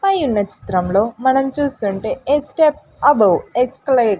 పై ఉన్న చిత్రంలో మనం చూస్తుంటే ఎక్స్స్టెప్ అబవ్ ఎక్స్కేలేట్ --